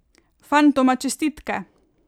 Fantoma čestitke!